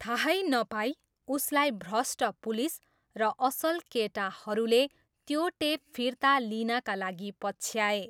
थाहै नपाई, उसलाई भ्रष्ट पुलिस र असल केटाहरूले त्यो टेप फिर्ता लिनाका लागि पछ्याए।